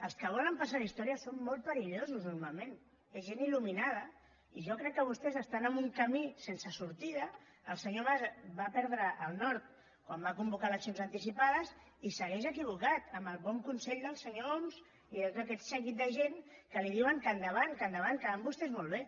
els que volen passar a la història són molt perillosos normalment és gent ilsense sortida el senyor mas va perdre el nord quan va convocar eleccions anticipades i segueix equivocat amb el bon consell del senyor homs i de tot aquest seguici de gent que li diuen que endavant que endavant que van vostès molt bé